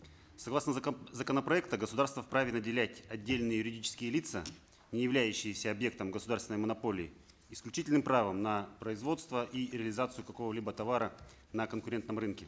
согласно законопроекта государство вправе наделять отдельные юридические лица не являющиеся объектом государственной монополии исключительным правом на производство и реализацию какого либо товара на конкурентном рынке